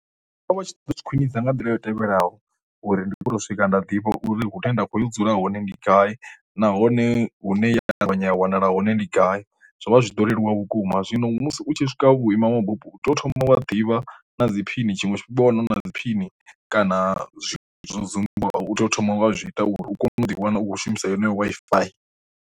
Vha vha tshi ḓo khwinisa nga nḓila yo tevhelaho uri ndi kone u swika nda ḓivha uri hune nda kho dzula hone ndi gai nahone hune ya nda ṱavhanya a wanala hone ndi gai, zwo vha zwi ḓo leluwa vhukuma zwino musi u tshi swika vhuima mabupo u tea u thoma wa ḓivha na dzi phini tshiṅwe tshifhinga wa na dzi phini kana zwiṅwe zwithu zwo dzumba u tea u thoma wa zwi ita uri u kone u ḓiwana u khou shumisa yeneyo Wi-Fi.